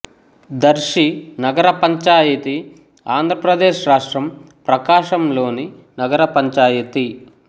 దర్శి నగరపంచాయతీ ఆంధ్రప్రదేశ్ రాష్ట్రం ప్రకాశం లోని నగర పంచాయతీ